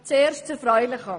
Zuerst zum Erfreulichen: